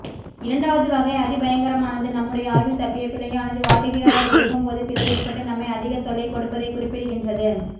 இரண்டாவது வகை அதிபயங்கரமானது நம்முடைய ஆய்வில் தப்பிய பிழையானது வாடிக்கையாளர் இயக்கும்போது பிழைஏற்பட்டு நம்மை அதிக தொல்லை கொடுப்பதை குறிப்பிடுகின்றது